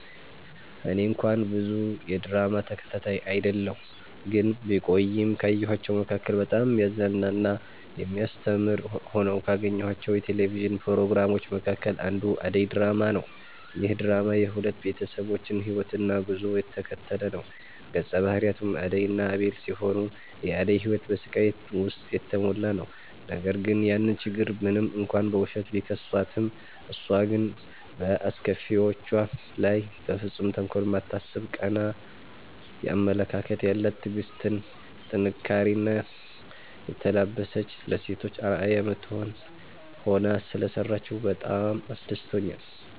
እኔ እንኳን ብዙ የድራማ ተከታታይ አይደለሁ ግን ቢቆይም ካየኋቸዉ መካከል በጣም የሚያዝናና እና የሚያስተምር ሆነው ካገኘኋቸው የቴሌቪዥን ፕሮግራሞች መካከል አንዱ አደይ ድራማ ነዉ። ይህ ድራማ የሁለት ቤተሰቦችን ህይወትና ጉዞ የተከተለ ነዉ ገፀ ባህሪያቱም አደይ እና አቤል ሲሆኑ የአደይ ህይወት በስቃይ ዉስጥ የተሞላ ነዉ ነገር ግን ያን ችግር ሞንም እንኳን በዉሸት፣ ቢከሷትም እሷ ግን በአስከፊዎቿ ላይ በፍፁም ተንኮል የማታስብ ቀና አመለካከት ያላት ትዕግስትን፣ ጥንካሬኔ የተላበሰች ለሴቶች አርአያ የምትሆን ሆና ሰለሰራችዉ በጣም አስደስቶኛል።